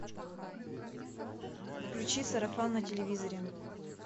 включи сарафан на телевизоре